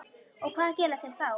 Og hvað gera þeir þá?